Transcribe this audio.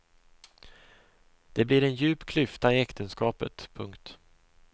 Det blir en djup klyfta i äktenskapet. punkt